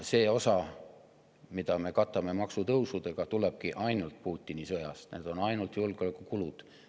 See osa, mida me katame maksutõusudega, tulenebki ainult Putini sõjast, need on ainult julgeolekukulud.